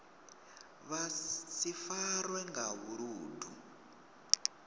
vha si farwe nga vhuludu